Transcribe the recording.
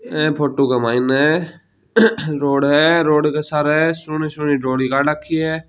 ई photo क main road है road क सारह सोणी सोणी रोडां काड राखी है।